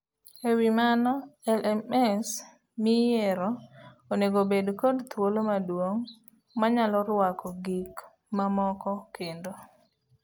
Ewii mano, LMS miyiero onego obed kod thuolo maduong' manyalo ruako gik mamoko kendo.